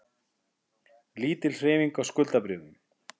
Lítil hreyfing á hlutabréfum